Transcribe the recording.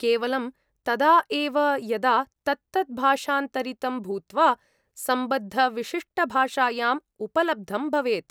केवलं तदा एव यदा तत्तत् भाषाऽन्तरितं भूत्वा सम्बद्धविशिष्टभाषायाम् उपलब्धं भवेत्।